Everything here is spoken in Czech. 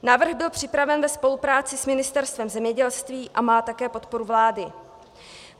Návrh byl připraven ve spolupráci s Ministerstvem zemědělství a má také podporu vlády.